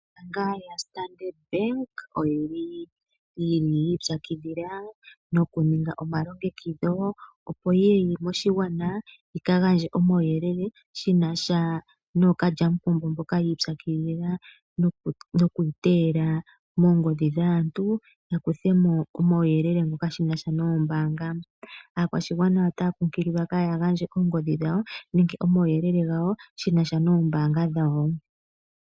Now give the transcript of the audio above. Ombaanga lyoStandard bank oyi ipyakidhila nokuninga omalongekidho, opo yi ye moshigwana yi ka gandje omauyelele shi na sha nookalyamupombo mboka yi ipyakidhila noku iteyela moongodhi dhaantu ya kuthe mo omauyelele shi na sha noombanga. Aakwashigwana otaya kunkililwa ka ya gandje oongodhi dhawo nenge omauyelele gawo shi na sha noombanga.